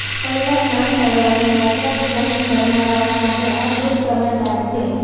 કૈલાસ માનસરોવરની યાત્રાનું પ્લાનિંગ કરનારાઓ માટે આ શુભ સમાચાર છે